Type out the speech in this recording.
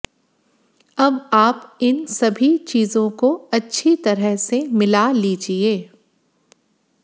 अब आप इन सभी चीजों को अच्छी तरह से मिला लीजिए